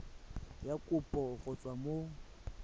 ya kopo go tswa mo